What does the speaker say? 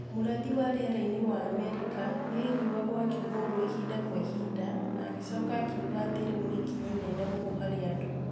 mũrathi wa rĩera-inĩ wa Amerika nĩ aiguagwo akiuga ũguo ihinda kwa ihinda, na agĩcoka akiuga atĩ rĩu nĩ ikinya inene mũno harĩ andũ.